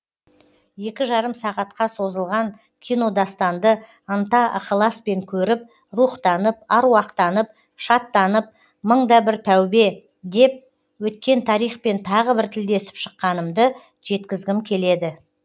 екі жарым сағатқа созылған кинодастанды ынта ықыласпен көріп рухтанып аруақтанып шаттанып мың да бір тәубе деп өткен тарихпен тағы бір тілдесіп шыққанымды жеткізгім келеді